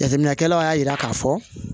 Jateminɛkɛlaw y'a jira k'a fɔ